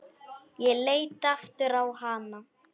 Ég leit aftur á hana.